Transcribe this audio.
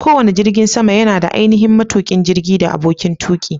Kowane jirgin sama yana da ainihin matuƙin jirgin da aboƙin tuƙi.